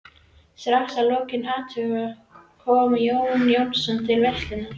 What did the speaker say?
Strax að lokinni athöfninni kom Jón Jónsson til veislunnar.